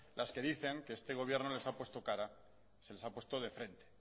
las que dicen que este gobierno les ha puesto cara se les ha puesto de frente